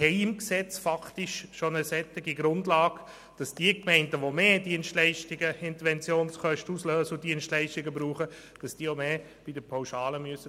Im Gesetz haben wir faktisch schon eine solche Grundlage, wonach diejenigen Gemeinden, die mehr Dienstleistungen brauchen und höhere Interventionskosten auslösen, bei der Pauschale mehr zahlen müssen.